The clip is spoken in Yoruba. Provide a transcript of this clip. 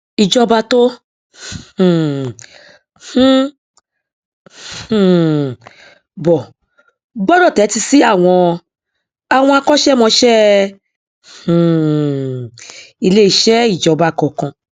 ìjọba tó um ń um bọ gbọdọ tẹtí sí àwọn àwọn akọṣẹmọṣẹ um iléeṣẹ ìjọba kọọkan